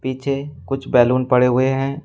पीछे कुछ बैलून पड़े हुए हैं।